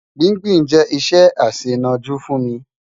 Gbìngbìn jẹ iṣẹ aṣẹnọ̀jú fún mi